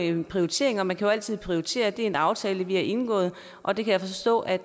en prioritering og man må jo altid prioritere det er en aftale vi har indgået og det kan jeg forstå at